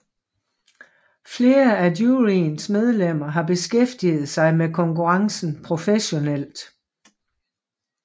Flere af juryens medlemmer har beskæftiget sig med konkurrencen professionelt